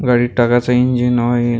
गाडित टाकाचा engine oil --